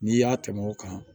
N'i y'a tɛmɛ o kan